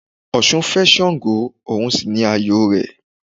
Ọ̀sun fé Sàngó, òun sì ni ààyò rẹ̀